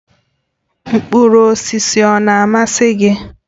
Mkpụrụ osisi ọ na-amasị gị?